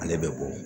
Ale bɛ bɔ